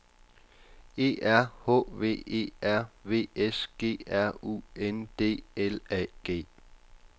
E R H V E R V S G R U N D L A G